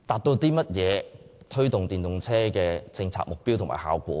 可如何達致推動電動車的政策目標和效果呢？